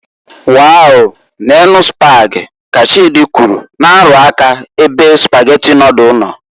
"Wow, neenu Spag", ka Chidi kwụrụ, na- arụ aka ebe Spaghetti nodulu no.